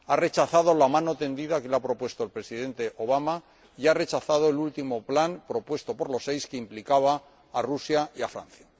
Ha rechazado la mano tendida que le ha propuesto el Presidente Obama y ha rechazado el último plan, propuesto por los Seis, que implicaba a Rusia y a Francia.